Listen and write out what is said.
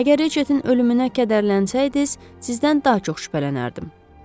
Əgər Ritchettin ölümünə kədərlənsəydiniz, sizdən daha çox şübhələnərdim.